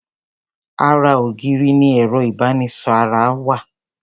Ara ògiri ni ẹ̀rọ ìbomisára wà.